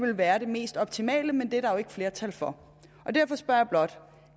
det være det mest optimale men det er der jo ikke flertal for derfor spørger jeg blot